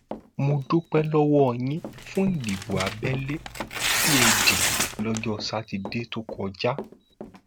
mo dúpẹ lọwọ yín fún ìdìbò abẹlé tí ẹ dì lọjọ sátidé tó kọjá